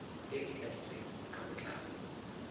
e e tladitsweng ka botlalo